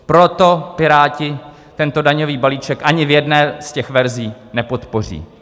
Proto Piráti tento daňový balíček ani v jedné z těch verzí nepodpoří.